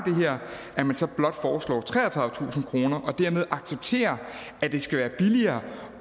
her at man så blot foreslår treogtredivetusind kroner og dermed accepterer at det skal være billigere